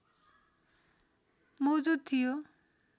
मौजुद थियो